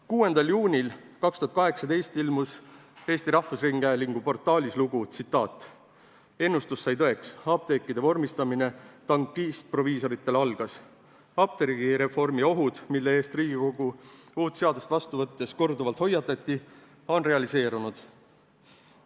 6. juunil 2018 ilmus Eesti Rahvusringhäälingu portaalis lugu "Ennustus sai tõeks: apteekide vormistamine tankistproviisoritele algas", milles öeldi: "Apteegireformi ohud, mille eest Riigikogu uut seadust vastu võttes korduvalt hoiatati, on realiseerunud.